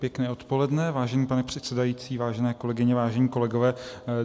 Pěkné odpoledne, vážený pane předsedající, vážené kolegyně, vážení kolegové.